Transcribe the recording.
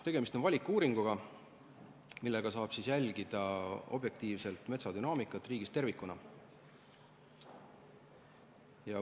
Tegemist on valikuuringuga, mille abil saab jälgida objektiivset metsadünaamikat riigis tervikuna.